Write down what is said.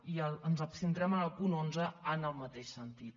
i ens abstindrem en el punt onze en el mateix sentit